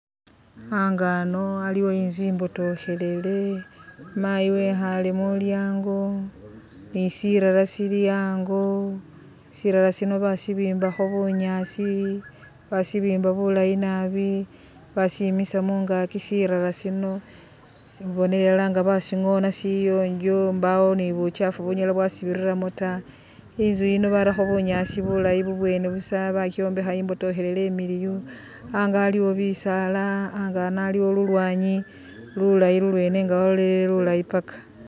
Ango ano aliwo inzu imbotokhelele, mayi wekhaale mu lyaango ni sirara sili ango, sirara sing basibimbakho bunyaasi basibimba bulayi nabi basimisa mungaaki. Sirara sino khembonela ilala nga basingona sili siyonjo mbawo ni bukyaafu bunyala bwasibiriramo ta. Inzu yino barakho bunyaasi bulayi bubwene busa, bakyombekha imbotokhelele imiliyu. Ango aliwo bisaala, ango ano aliwo lulwaanyi lulayinlulweene nga walolelele lulayi paka.